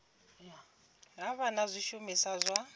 ha vha na zwishumiswa zwa